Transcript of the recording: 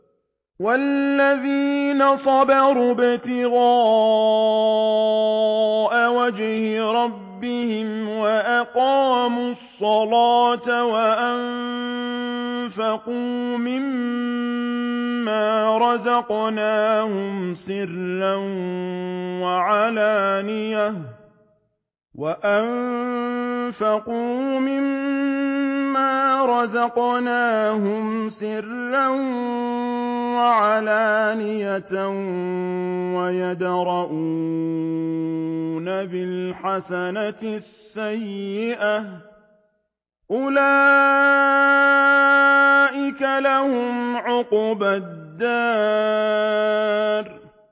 وَالَّذِينَ صَبَرُوا ابْتِغَاءَ وَجْهِ رَبِّهِمْ وَأَقَامُوا الصَّلَاةَ وَأَنفَقُوا مِمَّا رَزَقْنَاهُمْ سِرًّا وَعَلَانِيَةً وَيَدْرَءُونَ بِالْحَسَنَةِ السَّيِّئَةَ أُولَٰئِكَ لَهُمْ عُقْبَى الدَّارِ